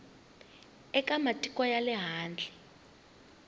eka matiko ya le handle